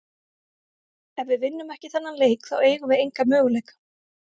Ef við vinnum ekki þennan leik þá eigum við enga möguleika.